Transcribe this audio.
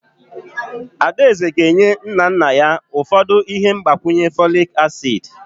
Adaeze ga-enye nna nna ya ụfọdụ ihe mgbakwunye folic acid.